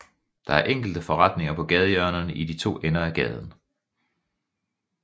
Der er enkelte forretninger på gadehjørnerne i de to ender af gaden